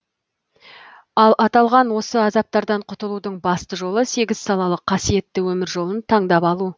ал аталған осы азаптардан құтылудың басты жолы сегіз салалы қасиетті өмір жолын тандап алу